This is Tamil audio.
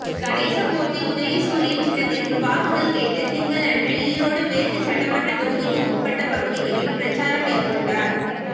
கணேசமூர்த்தி உதயசூரியன் சின்னத்திற்கு வாக்குகள் கேட்டு திங்களன்று ஈரோடு மேற்கு சட்டமன்ற தொகுதிக்கு உட்பட்ட பகுதிகளில் பிரச்சாரம் மேற்கொண்டார்